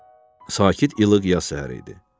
Sakit ilıq yaz səhəri idi.